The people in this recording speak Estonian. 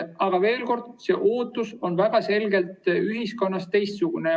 Aga veel kord: ootus ühiskonnas on väga selgelt teistsugune.